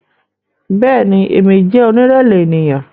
Bẹẹni, Emi jẹ onirẹlẹ eniyan